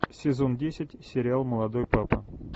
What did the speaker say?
сезон десять сериал молодой папа